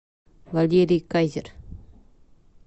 валерий кайзер